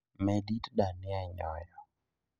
Med it dania e nyoyo